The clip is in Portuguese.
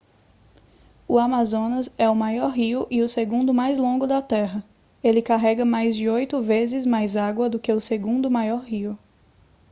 o amazonas é o maior rio e o segundo mais longo da terra ele carrega mais de oito vezes mais água do que o segundo maior rio